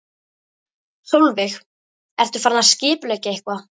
Sólveig: Ertu farin að skipuleggja eitthvað?